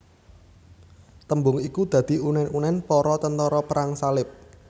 Tembung iku dadi unen unen para tentara Perang Salib